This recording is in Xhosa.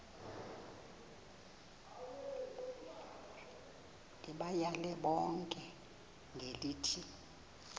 ndibayale bonke ngelithi